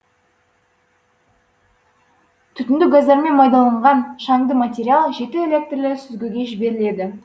түтіндік газдармен майдаланған шаңды материал жеті электірлі сүзгіге жіберіледі